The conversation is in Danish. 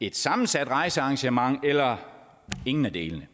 et sammensat rejsearrangement eller ingen af delene